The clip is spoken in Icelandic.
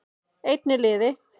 Einn í liði